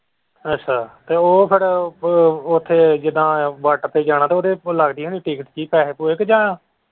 ਅੱਛਾ ਤੇ ਉਹ ਫਿਰ ਉੱਥੇ ਜਿੱਦਾਂ ਬਾਰਡਰ ਤੇ ਜਾਣਾ ਤੇ ਉਹਦੇ ਉੱਥੇ ਲੱਗਦੀ ਹੋਣੀ ticket ਵੀ ਪੈਸੇ ਪੂਸੇ ਕ ਜਾਂ।